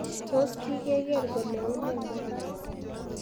Tos kigegeer kole une Mombasa